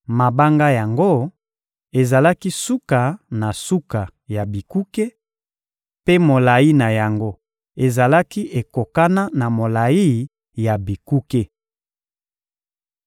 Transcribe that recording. Mabanga yango ezalaki suka na suka ya bikuke, mpe molayi na yango ezalaki ekokana na molayi ya bikuke.